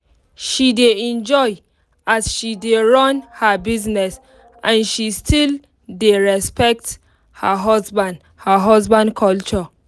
she dey enjoy as she dey run her business and she still dey respect her husband her husband culture